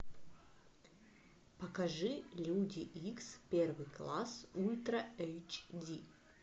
покажи люди икс первый класс ультра эйч ди